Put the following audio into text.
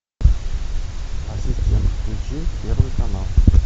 ассистент включи первый канал